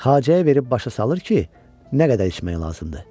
Xacəyə verib başa salır ki, nə qədər içmək lazımdır.